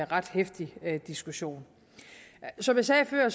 ret heftig diskussion som jeg sagde før